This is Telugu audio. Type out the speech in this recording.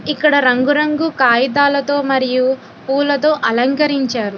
ఇక్కడ రంగురంగు కాగితాలతో మరియు పూలతో అలంకరించారు.